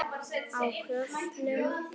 Á köflum.